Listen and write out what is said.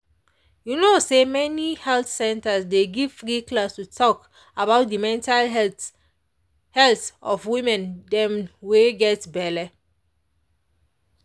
you no say many health centers dey give free class to talk about the mental health health of woman dem wey get belle